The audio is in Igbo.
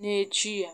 n'echi ya.